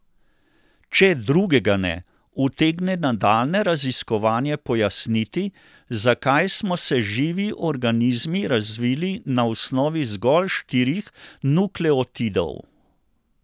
Če drugega ne, utegne nadaljnje raziskovanje pojasniti, zakaj smo se živi organizmi razvili na osnovi zgolj štirih nukleotidov.